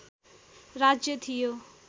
राज्य थियो